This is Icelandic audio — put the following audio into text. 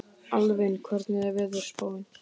Alvin, hvernig er veðurspáin?